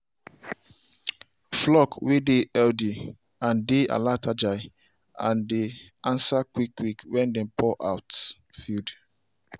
flock way dey healthy dey alertagile and dey answer quick quick when dem pour feed.